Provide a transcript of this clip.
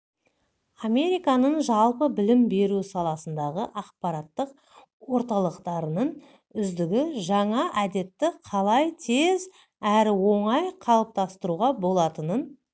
американың жалпы білім беру саласындағы ақпараттық орталықтарының үздігі жаңа әдетті қалай тез әрі оңай қалыптастыруға болатынын